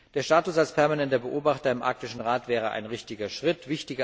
Der Status als permanenter Beobachter im Arktischen Rat wäre ein richtiger Schritt.